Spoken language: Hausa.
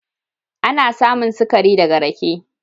Ana samun sikari da ga rake.